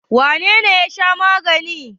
Wane ne ya sha magani?